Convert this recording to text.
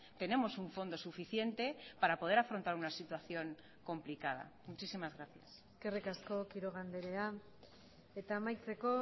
tenemos un fondo suficiente para poder afrontar una situación complicada muchísimas gracias eskerrik asko quiroga andrea eta amaitzeko